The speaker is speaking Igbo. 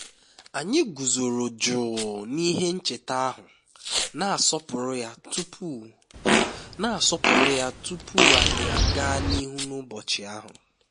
anyị guzoro jụụ n'ihe ncheta ahụ na-asọpụrụ ya tupu na-asọpụrụ ya tupu anyị aga n'ihu n'ụbọchị ahụ